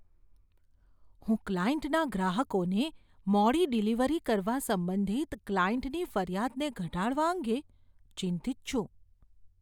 હું ક્લાયન્ટના ગ્રાહકોને મોડી ડિલિવરી કરવા સંબંધિત ક્લાયન્ટની ફરિયાદને ઘટાડવા અંગે ચિંતિત છું.